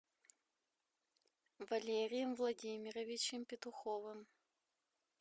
валерием владимировичем петуховым